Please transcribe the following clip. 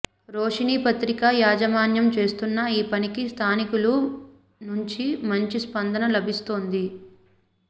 రోషిణి పత్రిక యాజమాన్యం చేస్తున్న ఈ పనికి స్థానికుల నుంచి మంచి స్పందన లభిస్తోంది